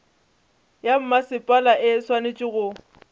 ya mmasepala e swanetše go